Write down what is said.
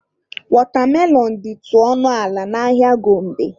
Wọtamelọn dịtụ ọnụ ala n'ahịa Gombe.